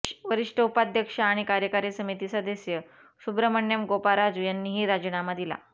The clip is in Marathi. वरिष्ठ उपाध्यक्ष आणि कार्यकारी समिती सदस्य सुब्रह्मण्यम गोपाराजू यांनीही राजीनामा दिला